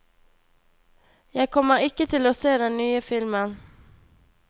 Jeg kommer ikke til å se den nye filmen.